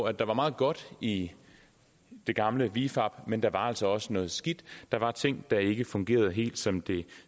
at der var meget godt i det gamle vifab men der var altså også noget skidt der var ting der ikke fungerede helt som det